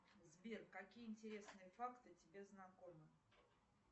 сбер какие интересные факты тебе знакомы